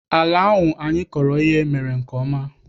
Ala ahụ anyị kọrọ ihe mere nke ọma.